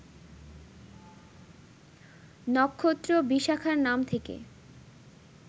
নক্ষত্র বিশাখার নাম থেকে